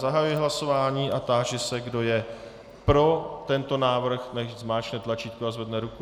Zahajuji hlasování a táži se, kdo je pro tento návrh, nechť zmáčkne tlačítko a zvedne ruku.